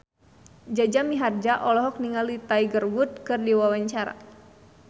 Jaja Mihardja olohok ningali Tiger Wood keur diwawancara